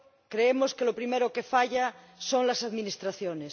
Creemos que lo primero que falla son las administraciones.